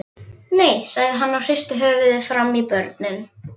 Nei, sagði hann og hristi höfuðið framan í börnin.